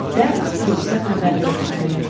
Dərhal polisə xəbər verilməli idi.